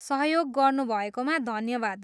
सहयोग गर्नुभएकोमा धन्यवाद।